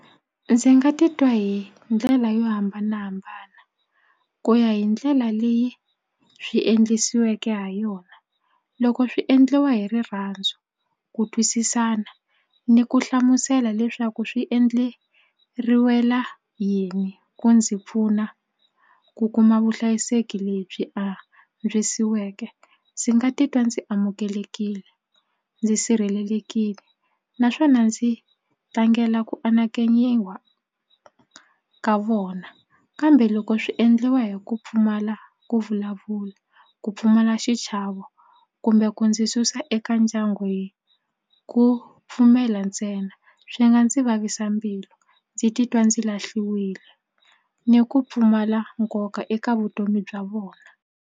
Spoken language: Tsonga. Ndzi nga titwa hi ndlela yo hambanahambana ku ya hi ndlela leyi swi endlisiweke ha yona. Loko swi endliwa hi rirhandzu ku twisisana ni ku hlamusela leswaku swi endleriwela yini ku ndzi pfuna ku kuma vuhlayiseki lebyi antswisiweke ndzi nga titwa ndzi amukelekile ndzi sirhelelekile naswona ndzi tlangela ku anakenyiwa ka vona kambe loko swi endliwa hi ku pfumala ku vulavula ku pfumala xichavo kumbe ku ndzi susa eka ndyangu hi ku pfumela ntsena swi nga ndzi vavisa mbilu ndzi titwa ndzi lahliwile ni ku pfumala nkoka eka vutomi bya vona.